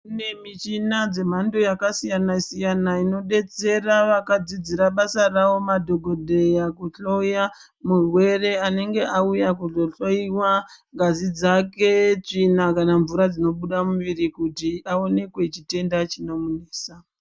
Kune michina dzamhando yakasiyana siyana inodetsera vakadzidzira basa ravo madhogodheya kuhloya murwere anenge auya kuzohloiwa ngazi dzake, tsvina kana mvura dzinobuda mumuviri kuti aonekwe chitenda chinomunesa.